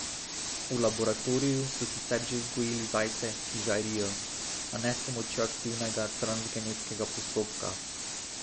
V laboratoriju so sicer že vzgojili zajce, ki žarijo, a ne s pomočjo aktivnega transgenetskega postopka.